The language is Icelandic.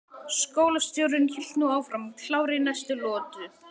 Skólastjórinn hélt nú áfram, klár í næstu lotu.